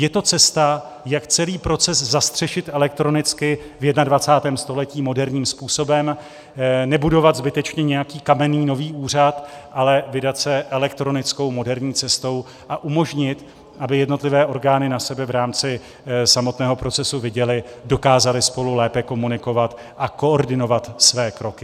Je to cesta, jak celý proces zastřešit elektronicky v 21. století moderním způsobem: nebudovat zbytečně nějaký kamenný nový úřad, ale vydat se elektronickou moderní cestou a umožnit, aby jednotlivé orgány na sebe v rámci samotného procesu viděly, dokázaly spolu lépe komunikovat a koordinovat své kroky.